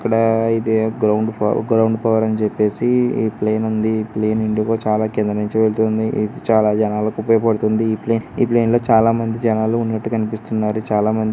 ఇక్కడా అయితే గ్రౌండ్ ఫవ్ గ్రౌండ్ పవర్ అని చెప్పేసి ఈ ప్లేన్ ఉంది. ఈ ప్లేన్ ఎందుకో కింది నుంచి వెళ్తుంది. ఇది చాలా జనాలకుపయోగపడుతుంది ఈ ప్లేన్ ఈ ప్లేన్ లో చాలా మంది జనాలున్నట్టు కన్పిస్తున్నారు. చాలా మంది.